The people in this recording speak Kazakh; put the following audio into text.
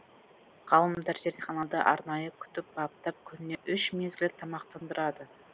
ғалымдар зертханада арнайы күтіп баптап күніне үш мезгіл тамақтандырады